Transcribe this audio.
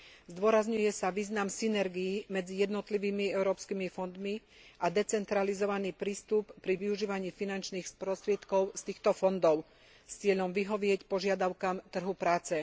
Zdôrazňuje sa význam synergií medzi jednotlivými európskymi fondmi a decentralizovaný prístup pri využívaní finančných prostriedkov z týchto fondov s cieľom vyhovieť požiadavkám trhu práce.